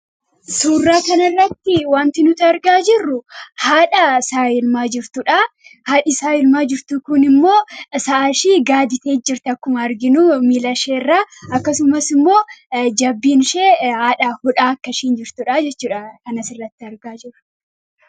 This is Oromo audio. Suuraa kanarratti wanti nuti argaa jirru haadha sa'a elmaa jirtudha. Haadhi sa'a elmaa jirtu kunimmoo sa'ashii gaaditeet jirti akkuma arginuu miila miilasheerraa akkasumasimmoo jabbiin ishee haadha hodhaa akka isheen jirtudhaa jechuudha kan asirratti argaa jirru.